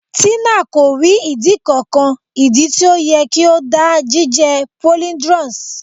Tina ko ri idi kankan. idi ti o yẹ ki o da jije polyndrous